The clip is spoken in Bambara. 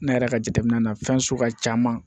Ne yɛrɛ ka jateminɛ na fɛn sugu ka ca